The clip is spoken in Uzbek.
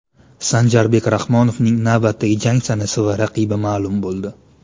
Sanjarbek Rahmonovning navbatdagi jangi sanasi va raqibi ma’lum bo‘ldi.